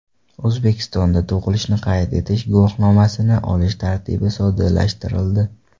O‘zbekistonda tug‘ilishni qayd etish guvohnomasini olish tartibi soddalashtirildi.